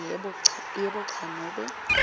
yebo cha nobe